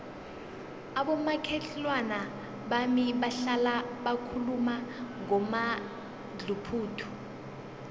abomakhelwana bami bahlala bakhuluma ngomadluphuthu